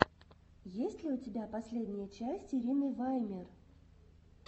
есть ли у тебя последняя часть ирины ваймер